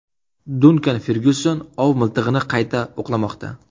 Dunkan Fergyuson ov miltig‘ini qayta o‘qlamoqda.